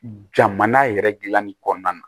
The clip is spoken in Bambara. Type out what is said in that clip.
Jamana yɛrɛ dilanni kɔnɔna na